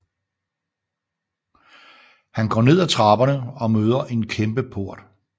Han går ned ad trapperne og møder en kæmpe port